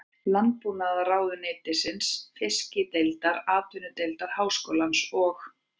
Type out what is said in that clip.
Landbúnaðarráðuneytisins, Fiskideildar Atvinnudeildar Háskólans og